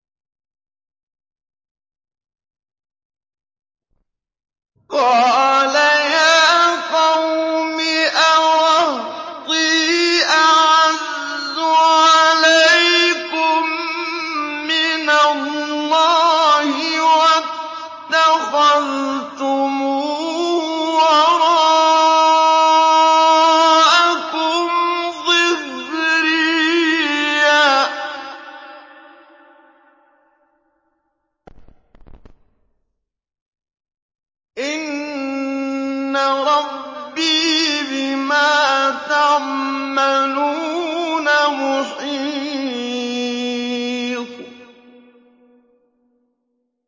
قَالَ يَا قَوْمِ أَرَهْطِي أَعَزُّ عَلَيْكُم مِّنَ اللَّهِ وَاتَّخَذْتُمُوهُ وَرَاءَكُمْ ظِهْرِيًّا ۖ إِنَّ رَبِّي بِمَا تَعْمَلُونَ مُحِيطٌ